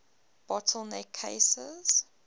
bottle neck cases